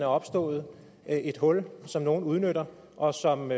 opstået et hul som nogle udnytter og som